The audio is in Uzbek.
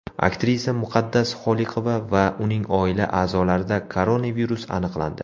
Aktrisa Muqaddas Xoliqova va uning oila a’zolarida koronavirus aniqlandi.